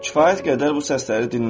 Kifayət qədər bu səsləri dinlədin.